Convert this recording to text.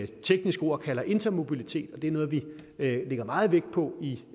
teknisk ord kalder intermobilitet og det er noget vi lægger meget vægt på i